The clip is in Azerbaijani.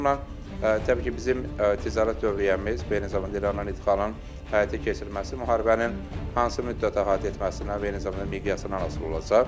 O baxımdan təbii ki, bizim ticarət dövriyyəmiz və eyni zamanda İranın ixracın həyata keçirilməsi müharibənin hansı müddətə əhatə etməsindən və eyni zamanda miqyasından asılı olacaq.